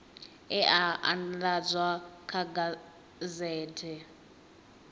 e a andadzwa kha gazethe